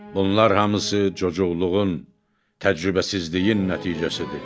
Bunlar hamısı cocuqluğun, təcrübəsizliyin nəticəsidir.